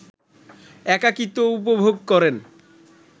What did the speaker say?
একাকিত্ব উপভোগ করেন